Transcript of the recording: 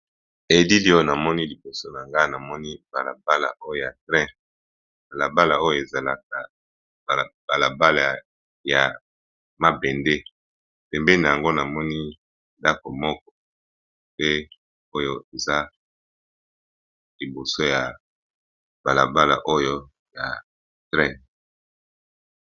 ELili oyo namoni liboso na nga namoni balabala oyo ya train balabala oyo ezalaka balabala ya mabende pembeni na yango namoni ndako moko pe oyo eza liboso ya balabala oyo ya Train .